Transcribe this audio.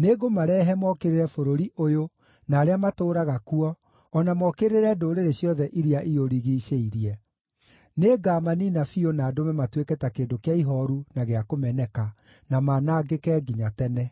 “Nĩngũmarehe mookĩrĩre bũrũri ũyũ na arĩa matũũraga kuo o na mookĩrĩre ndũrĩrĩ ciothe iria iũrigiicĩirie. Nĩngamaniina biũ na ndũme matuĩke ta kĩndũ kĩa ihooru na gĩa kũmeneka, na manangĩke nginya tene.